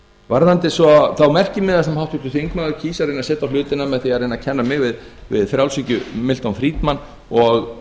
varðandi svo þá merkimiða sem háttvirtur þingmaður kýs að setja á hlutina með því að reyna að kenna mig við frjálshyggju milton friedman og